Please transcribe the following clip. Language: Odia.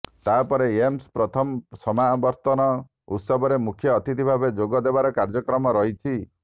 ତାପରେ ଏମ୍ସର ପ୍ରଥମ ସମାବର୍ତନ ଉତ୍ସବରେ ମୁଖ୍ୟ ଅତିଥି ଭାବେ ଯୋଗ ଦେବାର କାର୍ଯ୍ୟକ୍ରମ ରହିଛି